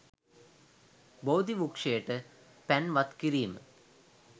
බෝධි වෘක්‍ෂයට පැන් වත් කිරීම